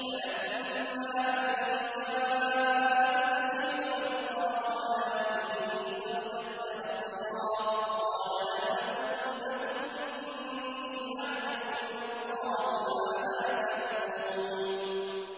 فَلَمَّا أَن جَاءَ الْبَشِيرُ أَلْقَاهُ عَلَىٰ وَجْهِهِ فَارْتَدَّ بَصِيرًا ۖ قَالَ أَلَمْ أَقُل لَّكُمْ إِنِّي أَعْلَمُ مِنَ اللَّهِ مَا لَا تَعْلَمُونَ